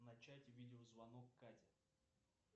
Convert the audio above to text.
начать видеозвонок кате